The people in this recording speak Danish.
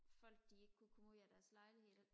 folk de ikke kunne komme ud af deres lejligheder